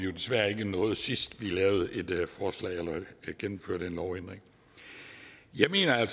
vi desværre ikke sidst vi gennemførte en lovændring jeg mener at